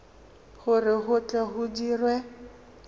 gore go tle go dirwe